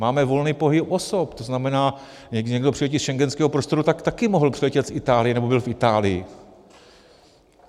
Máme volný pohyb osob, to znamená, někdo přiletí z schengenského prostoru, tak taky mohl přiletět z Itálie, nebo byl v Itálii.